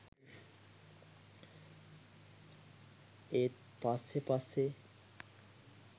ඒත් පස්සේ පස්සේ